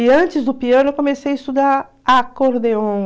E antes do piano, eu comecei a estudar acordeon.